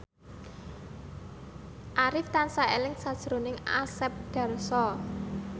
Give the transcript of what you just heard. Arif tansah eling sakjroning Asep Darso